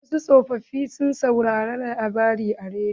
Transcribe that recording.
Wasu tsofofi na son sauraren labarai a rediyo.